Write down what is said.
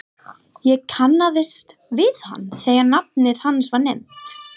Ég kannaðist við hann þegar nafnið hans var nefnt.